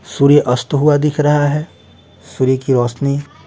सूर्य अस्त हुआ दिख रहा है सूर्य की रोशनी --